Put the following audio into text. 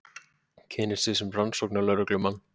Kynnir sig sem rannsóknarlögreglumann.